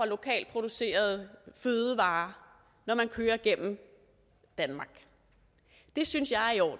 lokalt producerede fødevarer når man kører gennem danmark det synes jeg er i orden